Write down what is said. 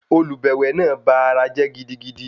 Olùbẹ̀wẹ̀ náà ba ara jẹ́ gidigidi.